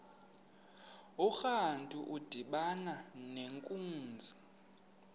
urantu udibana nenkunzi